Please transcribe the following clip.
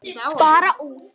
Bara út.